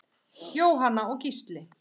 Jóhanna og Gísli.